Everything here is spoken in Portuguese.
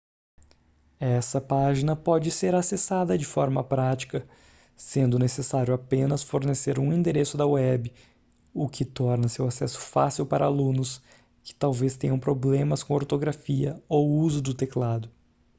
essa página pode ser acessada de forma prática sendo necessário apenas fornecer um endereço da web o que torna seu acesso fácil para alunos que talvez tenham problemas com ortografia ou uso do teclado